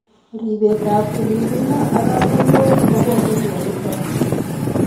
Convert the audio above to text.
Ripetab tililindo ak katoltolik kobose mioniton.